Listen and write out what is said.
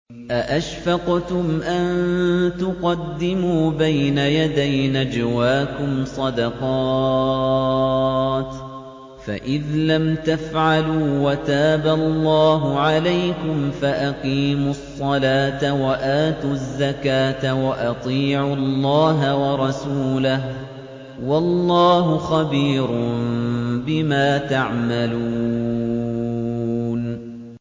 أَأَشْفَقْتُمْ أَن تُقَدِّمُوا بَيْنَ يَدَيْ نَجْوَاكُمْ صَدَقَاتٍ ۚ فَإِذْ لَمْ تَفْعَلُوا وَتَابَ اللَّهُ عَلَيْكُمْ فَأَقِيمُوا الصَّلَاةَ وَآتُوا الزَّكَاةَ وَأَطِيعُوا اللَّهَ وَرَسُولَهُ ۚ وَاللَّهُ خَبِيرٌ بِمَا تَعْمَلُونَ